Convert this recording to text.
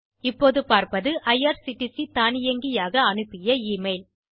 இப்போது பார்ப்பது ஐஆர்சிடிசி தானியங்கியாக அனுப்பிய e மெயில்